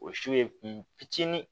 O su ye kun fitinin